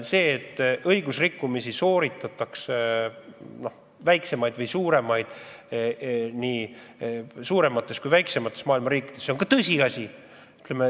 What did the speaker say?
See, et õigusrikkumisi sooritatakse – nii väiksemaid kui ka suuremaid, nii suuremates kui ka väiksemates maailma riikides – on tõsiasi.